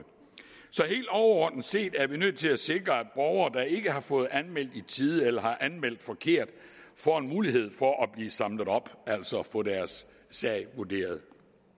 så helt overordnet set er vi nødt til at sikre at borgere der ikke har fået anmeldt i tide eller har anmeldt forkert får en mulighed for at blive samlet op altså få deres sag vurderet